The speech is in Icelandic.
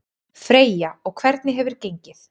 Freyja: Og hvernig hefur gengið?